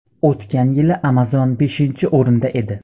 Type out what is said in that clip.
O‘tgan yili Amazon beshinchi o‘rinda edi.